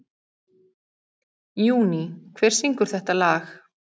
Júní, hver syngur þetta lag?